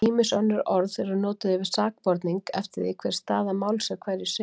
Ýmis önnur orð eru notuð yfir sakborning eftir því hver staða máls er hverju sinni.